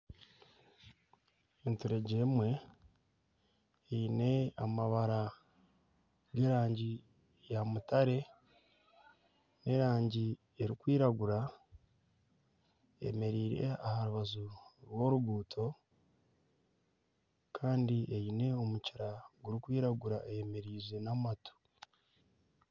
Enturegye emwe eine amabara g'erangi ya mutare n'erangi erikwiragura. Eyemereire aha rubaju rw'oruguuto kandi eine omukira gurikwiragura eyemereize n'amatu.